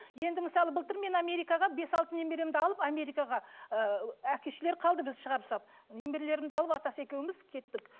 енді мысалы былтыр мен америкаға бес алты немеремді алып америкаға ыыы әке шешелері қалды бізді шығарып салып немерелерімді алып атасы екеуіміз кеттік